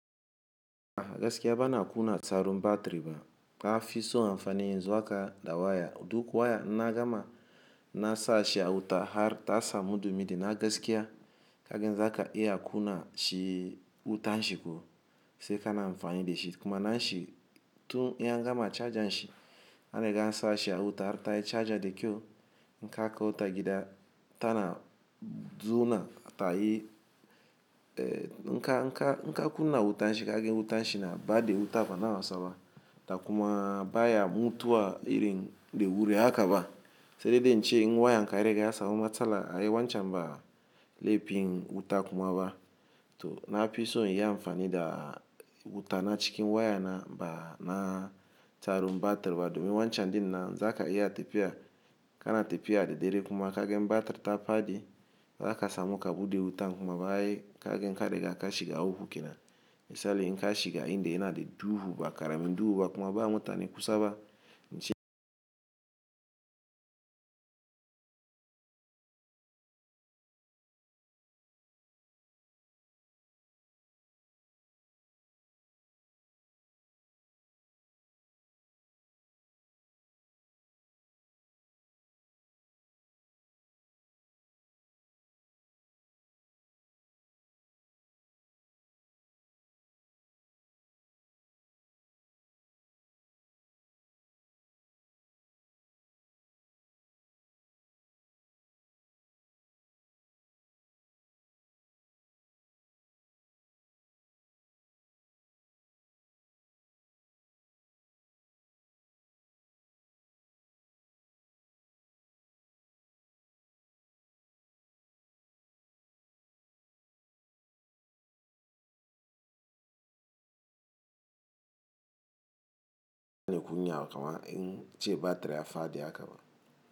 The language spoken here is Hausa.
Agaskiya bana kunna tsarum batiri ba, ka fi so amfani yanzu haka da waya. Duk waya inna gama na sa shi a wuta har ta samu dumin na gaskiya kagen zaka iya kuna shi wutan shi ko sai kana amfani da shi. Kuma na shi tun iya gama charger shi, an riga an sa shi a wuta har ta yi charger da kyau, inka kaita gida tana zo nan ta yi, eh inka, inka, ina kuna wutan shi kagen wutan shi na ba da wuta bana wasaba. Da kuma baya mutuwa irin da wuri hakaba. Sai dai dai in ce wayan ka gariga ya samu matsala ai wancan ba lepin wuta kuma ba. To na fi so iya amfani da wuta na cikin waya na ba na tsarum batiri ba domin wancan dinnan zaka iya tafiya kana tafiya da dare kuma kagan batir ta fadi, za ka samu kabude wuta kuma ba ai kagen kare ga ka shiga uku kenan. Misali in ka shiga inda yana da duhu ba, karamin duhu ba kuma ba mutane kusa ba, in ce.